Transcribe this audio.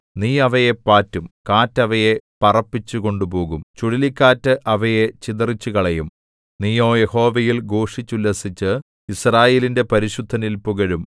നീ അവയെ പാറ്റും കാറ്റ് അവയെ പറപ്പിച്ചുകൊണ്ടുപോകും ചുഴലിക്കാറ്റ് അവയെ ചിതറിച്ചുകളയും നീയോ യഹോവയിൽ ഘോഷിച്ചുല്ലസിച്ചു യിസ്രായേലിന്റെ പരിശുദ്ധനിൽ പുകഴും